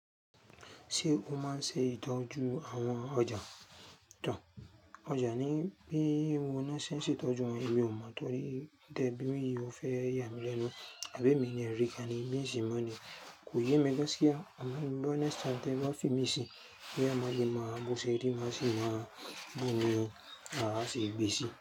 Ṣé o máa ń ṣe ìtọ́jú àwọn ọjà? Òja ni bí mo maá ṣé ń ṣe ìtọ́jú wọn, èmi ò mọ̀ torí tẹ beere yi o fẹ́ yà mí lẹ́nu. Ẹ̀gbẹ́ mi ni ẹ̀rí, kíni mí sì mọ̀ ni kò yé mi gásí a. Àmọ́ bí ọ̀nà ti wọ́n fi mí sí, bí a máa le máa bùṣẹ́, bí a sì máa bùnmi, àá ṣègbé sí i.